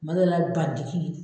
kuma dɔ la bandigi.